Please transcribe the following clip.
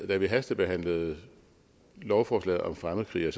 da vi hastebehandlede lovforslaget om fremmedkrigere